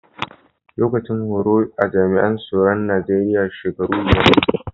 Lokacin horo a jami'an soro'n Nijeriya shakaru biyar ne.